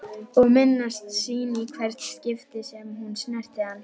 Og minnast sín í hvert skipti sem hún snerti hann.